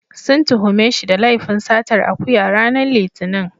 Sun tuhume shi da laifin satar akuya, ranar Litinin.